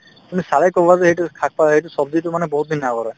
মানে চালে কবা যে সেইটো শাক-পা সেইটো ছব্জিটো মানে বহুতদিন আগৰে